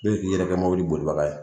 Bɛɛ bi k'i yɛrɛ kɛ mobili bolibaga ye